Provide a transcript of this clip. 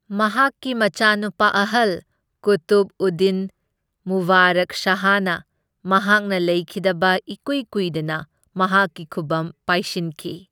ꯃꯍꯥꯛꯀꯤ ꯃꯆꯥꯅꯨꯄꯥ ꯑꯍꯜ ꯀꯨꯇꯨꯕꯎꯗꯗꯤꯟ ꯃꯨꯕꯥꯔꯛ ꯁꯍꯥꯅ ꯃꯍꯥꯛꯅ ꯂꯩꯈꯤꯗꯕ ꯏꯀ꯭ꯋꯤ ꯀ꯭ꯋꯤꯗꯅ ꯃꯍꯥꯛꯀꯤ ꯈꯨꯕꯝ ꯄꯥꯢꯁꯤꯟꯈꯤ꯫